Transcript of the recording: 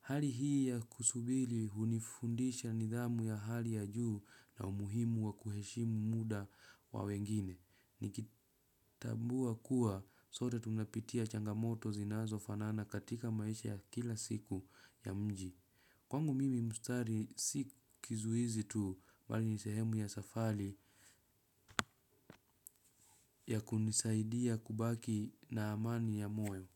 Hali hii ya kusubiri hunifundisha nidhamu ya hali ya juu na umuhimu wa kuheshimu muda wa wengine. Nikitambua kuwa sote tunapitia changamoto zinazo fanana katika maisha ya kila siku ya mji. Kwangu mimi mstari si kizuizi tu bali ni sehemu ya safari ya kunisaidia kubaki na amani ya moyo.